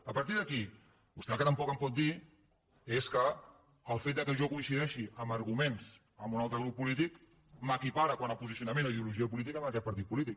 a partir d’aquí vostè el que tampoc em pot dir és que el fet que jo coincideixi en arguments amb un altre grup polític m’equipara quant a posicionament o ideologia política amb aquest partit polític